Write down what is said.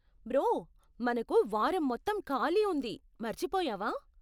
Bro, మనకు వారం మొత్తం ఖాళీ ఉంది, మర్చిపోయావా?